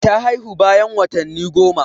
Ta haihu bayan watanni goma.